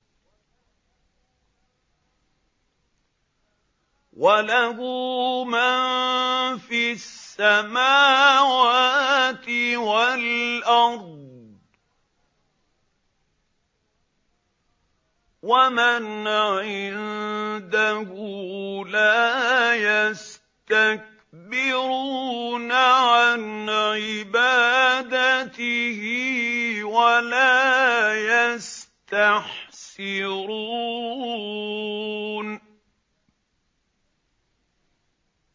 وَلَهُ مَن فِي السَّمَاوَاتِ وَالْأَرْضِ ۚ وَمَنْ عِندَهُ لَا يَسْتَكْبِرُونَ عَنْ عِبَادَتِهِ وَلَا يَسْتَحْسِرُونَ